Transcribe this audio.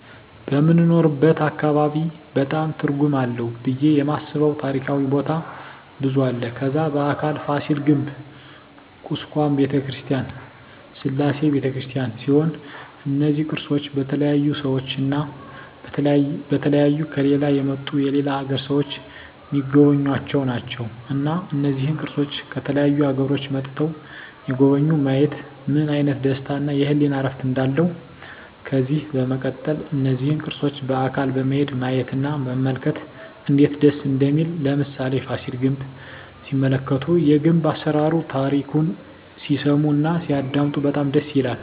በምንኖርበት አካባቢ በጣም ትርጉም አለው ብየ የማስበው ታሪካዊ ቦታ ብዙ አለ ከዛ በአካል ፋሲል ግንብ ኩስካም በተክርስቲያን ስላሴ በተክርስቲያን ሲሆኑ እነዚ ቅርሶች በተለያዩ ሰዎች እና በተለያዩ ከሌላ የመጡ የሌላ አገር ሰዎች ሚጎበኙአቸው ናቸው እና እነዚህን ቅርሶች ከተለያዩ አገሮች መጥተዉ የጎበኙ ማየት ምን አይነት ደስታ እና የህሊና እርፍ እንዳለው ከዚህ በመቀጠል እነዚህን ቅርሶች በአካል በመሄድ ማየት እና መመልከት እነዴት ደስ እንደሚል ለምሳሌ ፋሲል ግንብ ሲመለከቱ የግንብ አሰራሩን ታሪኩን ሲሰሙ እና ሲያደመጡ በጣም ደስ ይላል